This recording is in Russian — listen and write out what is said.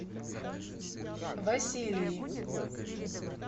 василии